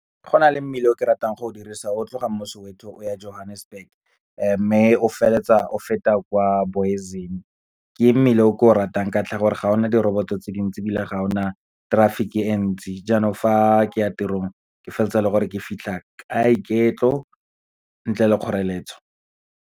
Go na le mmila o ke ratang go o dirisa, o tloga mo Soweto o ya Johannesburg, mme o feleletsa o feta kwa Booysens. Ke mmila o ke o ratang, ka ntlha ya gore ga ona diroboto tse dintsi, ebile ga ona traffic-e e ntsi, jaanong fa ke ya tirong ke feleletsa e le gore ke fitlha ka iketlo ntle le kgoreletso.